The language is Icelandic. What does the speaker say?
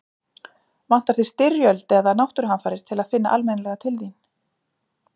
Vantar þig styrjöld eða náttúruhamfarir til að finna almennilega til þín?